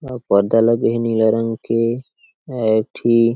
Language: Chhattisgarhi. पर्दा लगे हे नीला रंग के अउ एक ठी --